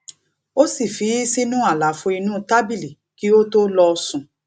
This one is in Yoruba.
ó sì fi í sínú àlàfo inú tábìlì kí ó tó lọ sùn